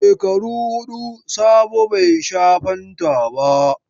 Shekaru hudu Sabo bai sha fanta ba.